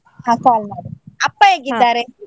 ಹಾ call ಮಾಡು, ಅಪ್ಪ ?